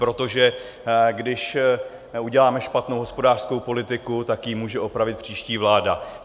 Protože když uděláme špatnou hospodářskou politiku, tak ji může opravit příští vláda.